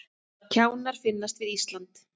Kjánar finnast við Ísland